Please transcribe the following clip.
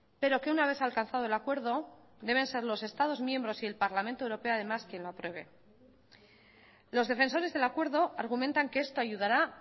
pero que una vez alcanzado el acuerdo deben ser los estados miembros y el parlamento europeo además quien lo apruebe los defensores del acuerdo argumentan que esto ayudará